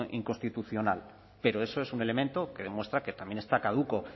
inconstitucional pero eso es un elemento que demuestra que también está caduco